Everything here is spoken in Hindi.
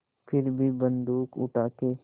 फिर भी बन्दूक उठाके